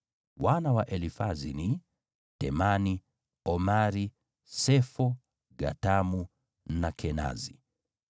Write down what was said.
Wana wa Elifazi ni: Temani, Omari, Sefo, Gatamu na Kenazi.